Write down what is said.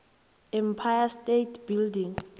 empire state building